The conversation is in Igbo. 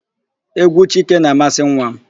Égwú Chike na-amasị nwa m.